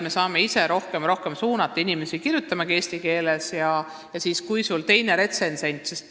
Me saame ise aina rohkem ja rohkem suunata inimesi kirjutama eesti keeles.